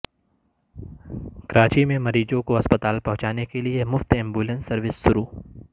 کراچی میں مریضوں کو اسپتال پہنچانے کیلیے مفت ایمبولینس سروس شروع